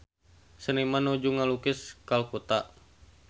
Seniman nuju ngalukis Kalkuta